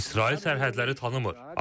İsrail sərhədləri tanımır.